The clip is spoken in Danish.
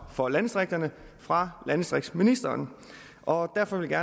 for landdistrikterne fra landdistriktsministeren og derfor vil jeg